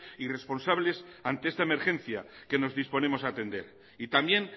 y responsables ante esta emergencia que nos disponemos a atender y también